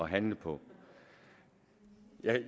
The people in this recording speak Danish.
handle på